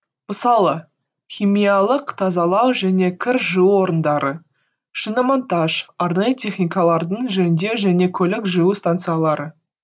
мысалы химиялық тазалау және кір жуу орындары шиномонтаж арнайы техникаларды жөндеу және көлік жуу станциялары